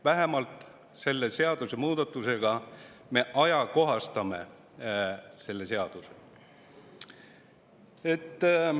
Vähemalt selle seadusemuudatusega me ajakohastame selle seaduse.